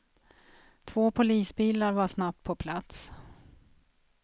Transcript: Två polisbilar var snabbt på plats.